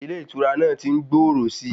Ilé ìtura náà tí ń gbòòrò síi.